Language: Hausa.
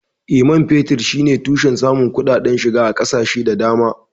Eh, man fetur shine tushen samun kuɗaɗen shiga ga ƙasashe da dama.